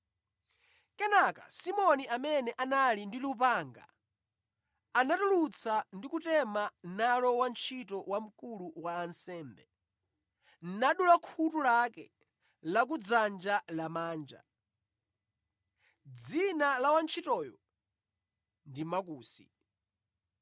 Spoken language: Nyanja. Kenaka Simoni amene anali ndi lupanga analitulutsa ndi kutema nalo wantchito wa wamkulu wa ansembe, nadula khutu lake la kudzanja lamanja. (Dzina la wantchitoyo ndi Makusi).